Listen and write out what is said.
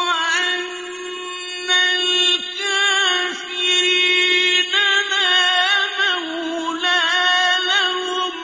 وَأَنَّ الْكَافِرِينَ لَا مَوْلَىٰ لَهُمْ